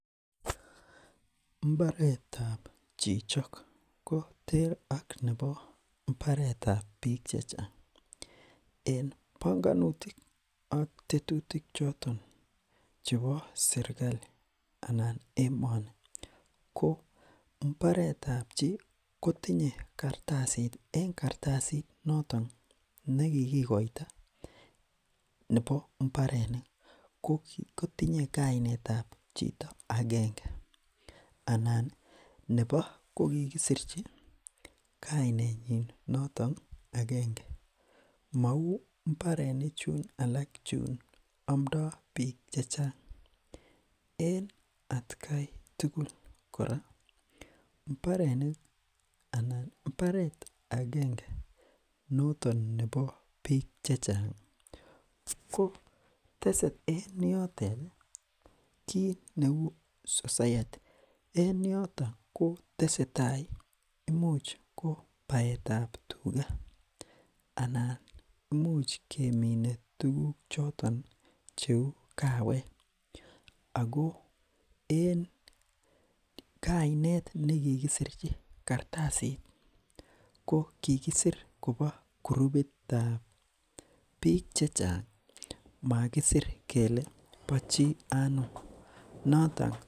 mbaretab chichok ko ter ak nebo mbaretab biik chechang en bongonutik ak tetutik chotok chebo serkali anan emoni ko mbaretab chii kotinye kartasit en kartasit noton nekikikoito nebo mbarenik kotinye kainetab chito akenge anani nebo kokikisirchi kainenyin notok akenge mouu mbarenichu alak chuun amndo biik chechang en atkai tugul kora mbarenik anan mbaret akenge noton nebo biik chechang ko tese en yotet kiitneu sosayati en yoto kotesetai imuch kobaetab tuga anan imuch kemine tuguk choton cheu kaawek ako en kainet nekikisirchi kartasit ko kikisir kobo gurupitab biik chechang makisir kele bochii anum noton